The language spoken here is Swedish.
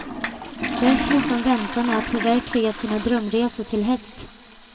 Därför måste hon vänta med att förverkliga sina drömresor till häst.